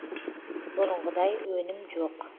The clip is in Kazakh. бұрынғыдай өнім жоқ